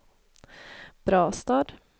Brastad